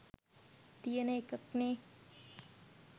තියෙන එකක්නේ.